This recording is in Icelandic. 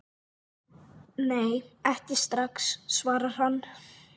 Nei, ekki strax, svarar hann.